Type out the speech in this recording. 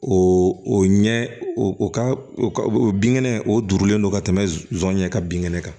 O o ɲɛ o ka o ka o binkɛnɛ o durulen don ka tɛmɛ zon ɲɛ ka bin kɛnɛ kan